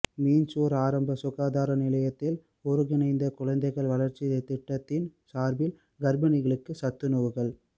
மீஞ்சூர் ஆரம்ப சுகாதார நிலையத்தில் ஒருங்கிணைந்த குழந்தைகள் வளர்ச்சி திட்டத்தின் சார்பில் கர்பிணிகளுக்கு சத்துணவுகள்